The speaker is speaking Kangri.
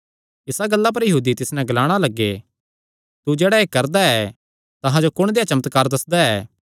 इसा गल्ला पर यहूदी तिस नैं ग्लाणा लग्गे तू जेह्ड़ा एह़ करदा ऐ तां अहां जो कुण देआ चमत्कार दस्सदा ऐ